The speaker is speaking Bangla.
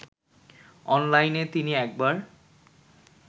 অনলাইনে তিনি একবার